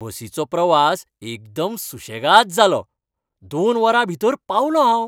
बसीचो प्रवास एकदम सुशेगाद जालो, दोन वरां भितर पावलों हांव.